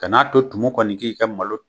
Ka n'a to tumu kɔni k'i ka malo